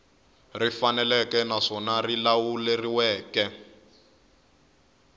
ri faneleke naswona ri lawuleriweke